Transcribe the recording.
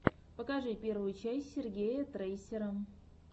покажи первую часть сергея трейсера